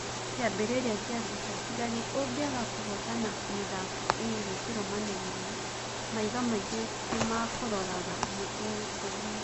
Kĩambĩrĩria kĩa mbica: Njagi Ũngĩaga kũhotana mĩthako ĩri kĩrũmanĩrĩrio, maitho maingĩ nimakũroraga nĩtuwĩ ũguo